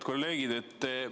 Head kolleegid!